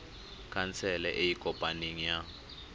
khansele e e kopaneng ya